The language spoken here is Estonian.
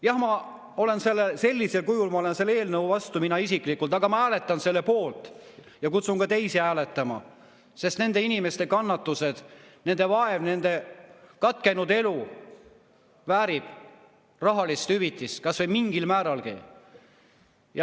Jah, ma olen sellisel kujul selle eelnõu vastu, mina isiklikult, aga ma hääletan selle poolt ja kutsun ka teisi hääletama, sest nende inimeste kannatused, nende vaev, nende katkenud elud väärivad rahalist hüvitist kas või mingil määralgi.